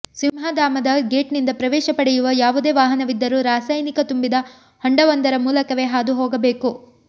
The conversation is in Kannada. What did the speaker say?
ಸಿಂಹಧಾಮದ ಗೇಟ್ನಿಂದ ಪ್ರವೇಶ ಪಡೆಯುವ ಯಾವುದೇ ವಾಹನವಿದ್ದರೂ ರಾಸಾಯನಿಕ ತುಂಬಿದ ಹೊಂಡವೊಂದರ ಮೂಲಕವೇ ಹಾದು ಹೋಗಬೇಕು